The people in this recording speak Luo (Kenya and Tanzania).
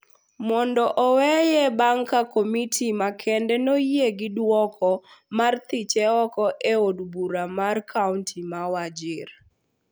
mondo oweye bang� ka komiti makende noyie gi duoko mar thiche oko e od bura mar kaonti ma Wajir